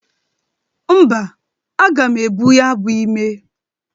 Mba, aga m ebu ya bụ ime.